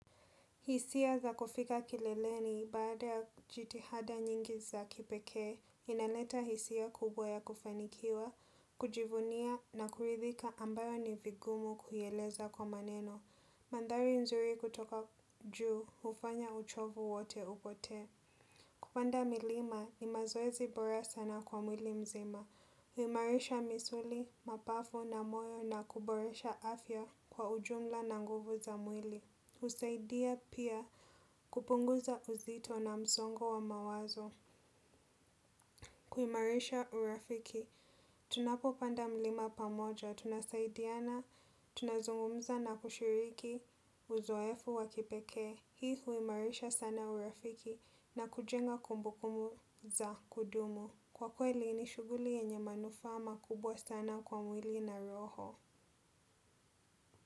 Hisia za kufika kileleni baada ya jitihada nyingi za kipekee, inaleta hisia kubwa ya kufanikiwa, kujivunia na kuridhika ambayo ni vigumu kuieleza kwa maneno. Mandari nzuri kutoka juu, hufanya uchovu wote upotee. Kupanda milima, ni mazoezi bora sana kwa mwili mzima. Huimarisha misuli, mapafu na moyo na kuboresha afya kwa ujumla na nguvu za mwili. Husaidia pia kupunguza uzito na msongo wa mawazo. Kuimarisha urafiki tunapopanda mlima pamoja tunasaidiana, tunazungumza na kushiriki uzoefu wa kipekee. Hii huimarisha sana urafiki na kujenga kumbukumu za kudumu. Kwa kweli ni shughuli yenye manufaa makubwa sana kwa mwili na roho.